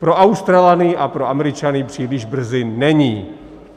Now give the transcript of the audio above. Pro Australany a pro Američany příliš brzy není.